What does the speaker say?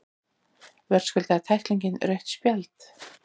Verðskuldaði tæklingin rautt spjald?